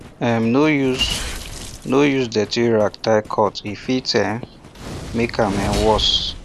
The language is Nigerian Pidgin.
um no use no use dirty rag tie cut e fit um make am um worse